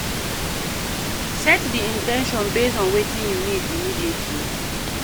Set di in ten tion based on wetin you need immediately